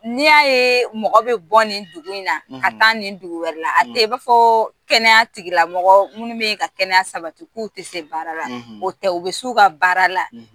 N'i y'a ye mɔgɔ bɛ bɔ nin dugu in na ka taa nin dugu wɛrɛ la a tɛ i b'a fɔ kɛnɛya tigilamɔgɔ minnu bɛ yen ka kɛnɛya sabati k'u tɛ se baara la o tɛ u bɛ s'u ka baara la